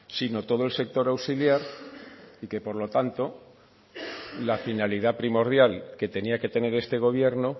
sino todo el sector auxiliar y que por lo tanto la finalidad primordial que tenía que tener este gobierno